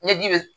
Ni ji be